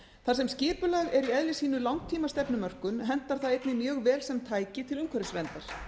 þar sem skipulag er í eðli sínu langtímastefnumörkun hentar það einnig mjög vel sem tæki til umhverfisverndar það